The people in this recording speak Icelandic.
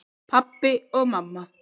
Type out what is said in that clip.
Pabbi og mamma